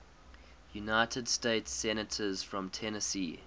united states senators from tennessee